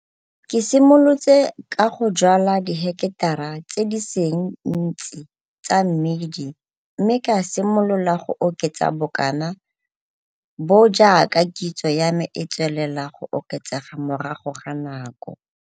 Ke simolotse ka go jwala diheketara tse di seng ntsi tsa mmidi mme ka simolola go oketsa bokana bo jaaka kitso ya me e tswelela go oketsega morago ga nako.